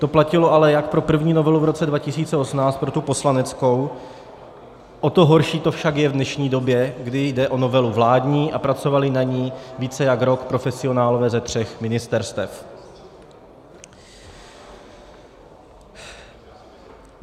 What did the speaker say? To platilo ale jak pro první novelu v roce 2018, pro tu poslaneckou, o to horší to však je v dnešní době, kdy jde o novelu vládní a pracovali na ní více než rok profesionálové ze tří ministerstev.